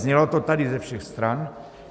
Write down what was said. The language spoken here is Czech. Znělo to tady ze všech stran.